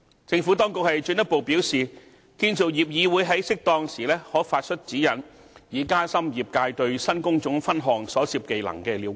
政府當局進一步表示，建造業議會在適當時候可發出指引，以加深業界對新工種分項所涉技能的了解。